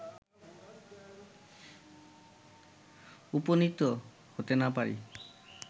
উপনীত হতে না পারি